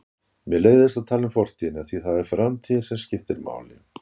Mér leiðist að tala um fortíðina því það er framtíðin sem skiptir máli.